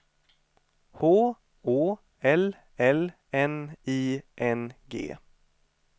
H Å L L N I N G